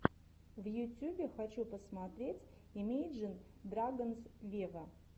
в ютюбе хочу посмотреть имейджин драгонс вево